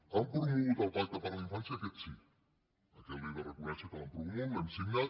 han promogut el pacte per la infància aquest sí aquest li he de reconèixer que l’han promogut l’hem signat